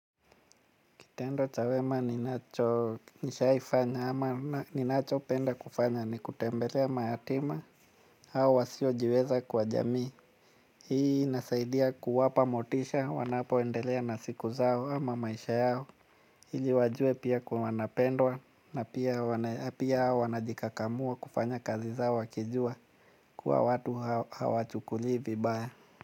Kitendo cha wema ninacho nishaifanya ama ninachopenda kufanya ni kutembelea mayatima au wasiojiweza kwa jamii. Hii inasaidia kuwapa motisha wanapoendelea na siku zao ama maisha yao. Ili wajue pia kwa wanapendwa na pia wanajikakamua kufanya kazi zao wakijua kuwa watu hawachukulii vibaya.